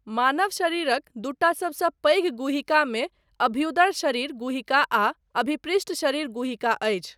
मानव शरीरक दूटा सभसँ पैघ गुहिकामे अभ्युदर शरीर गुहिका आ अभिपृष्ठ शरीर गुहिका अछि।